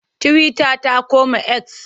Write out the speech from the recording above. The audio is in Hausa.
Tiwita ta koma eks.